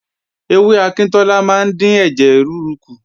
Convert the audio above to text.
Ewé akíntọ́lá máa ń dín ẹ̀jẹ̀ rúru kù